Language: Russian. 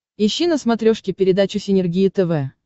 ищи на смотрешке передачу синергия тв